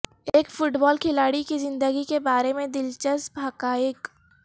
ایک football کھلاڑی کی زندگی کے بارے میں دلچسپ حقائق